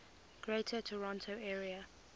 greater toronto area